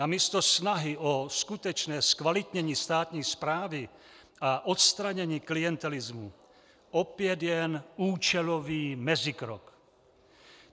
Namísto snahy o skutečné zkvalitnění státní správy a odstranění klientelismu opět jen účelový mezikrok.